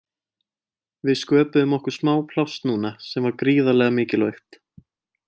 Við sköpuðum okkur smá pláss núna sem var gríðarlega mikilvægt.